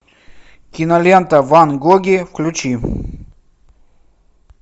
кинолента ван гоги включи